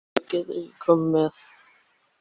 Nei, þú getur ekki komið með.